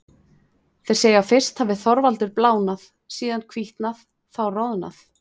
Þeir segja að fyrst hafi Þorvaldur blánað, síðan hvítnað, þá roðnað.